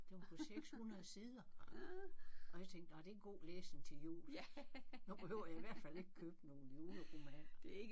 Den var på 600 sider og jeg tænkte nåh det er god læsning til jul. Nu behøver jeg i hvert fald ikke købe nogle juleromaner